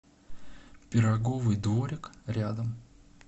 пироговый дворик рядом